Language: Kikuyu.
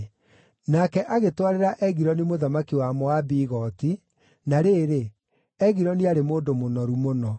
Nake agĩtwarĩra Egiloni mũthamaki wa Moabi igooti, na rĩrĩ, Egiloni aarĩ mũndũ mũnoru mũno.